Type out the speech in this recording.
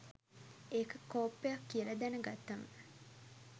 ඒක කොප්පයක් කියල දැන ගත්තම